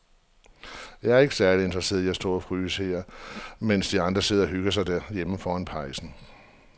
Jeg er ikke særlig interesseret i at stå og fryse her, mens de andre sidder og hygger sig derhjemme foran pejsen.